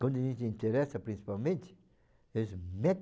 Quando a gente se interessa, principalmente, eles